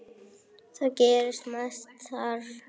Það gerist mest þar.